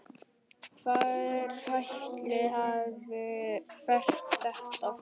Hver ætli hafi hert þetta?